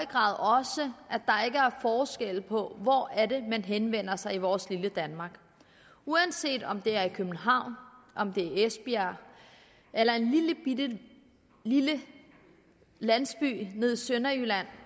grad også at på hvor man henvender sig i vores lille danmark uanset om det er i københavn om det er esbjerg eller en lillebitte landsby nede i sønderjylland